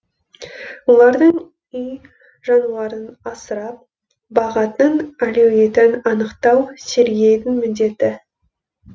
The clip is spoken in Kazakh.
олардың үй жануарын асырап бағатын әлеуетін анықтау сергейдің міндеті